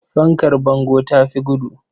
Fankar bango ta fi gudu.